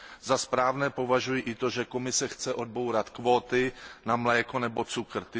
Za správné považuji i to, že Komise chce odbourat kvóty na mléko nebo cukr.